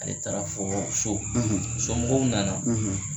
Ale taara fɔ so somɔgɔw nana.